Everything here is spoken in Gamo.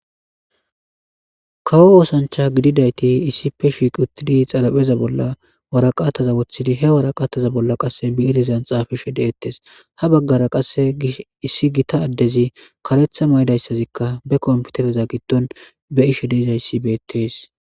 kawo oosancha gididayti issipe shiiq uttidi xarapheza bolla waraqataza woththidi he waraqaataza bolla qasse bi'irezan xaafishe de'ettes ha baggara qasse issi gita addezi karetha mayidayssazikka be komputereza giddon be'ishe de'izayssi beettees